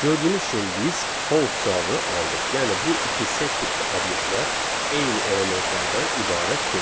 Gördüyünüz kimi biz false cavabını aldıq, yəni bu iki set tipli obyektlər eyni elementlərdən ibarət deyil.